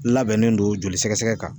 Labɛnnen don joli sɛgɛsɛgɛ kan